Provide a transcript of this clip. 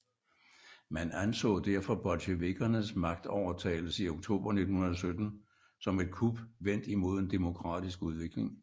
Man anså derfor bolsjevikkernes magtovertagelse i oktober 1917 som et kup vendt imod en demokratisk udvikling